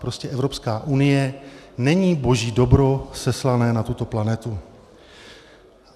Prostě Evropská unie není boží dobro seslané na tuto planetu.